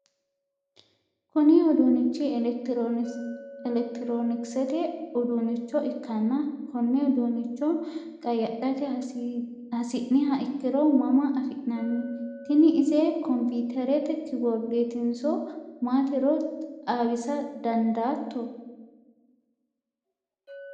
kuni uduunnichi elekitiroonikisete uduunnicho ikkanna, konne uduunnicho qayyadhate hasi'niha ikkiro mama afi'nanni? tini ise kompiiterete kiboordeetinso maatiro xawisa dandaatto ?